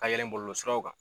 Ka yɛl ɛ bolo siraw kan